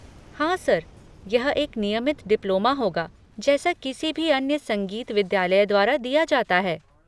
हाँ सर, यह एक नियमित डिप्लोमा होगा जैसा किसी भी अन्य संगीत विद्यालय द्वारा दिया जाता है।